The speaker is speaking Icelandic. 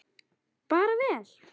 Bara vel.